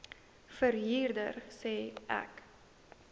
verhuurder sê ek